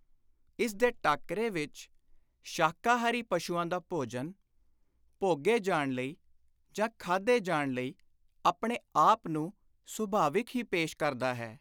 ਇਸ ਦੇ ਟਾਕਰੇ ਵਿਚ ਸ਼ਾਕਾਹਾਰੀ ਪਸ਼ੂਆਂ ਦਾ ਭੋਜਨ, ਭੋਗੇ ਜਾਣ ਲਈ ਜਾਂ ਖਾਧੇ ਜਾਣ ਲਈ ਆਪਣੇ ਆਪ ਨੂੰ ਸੁਭਾਵਕ ਹੀ ਪੇਸ਼ ਕਰਦਾ ਹੈ।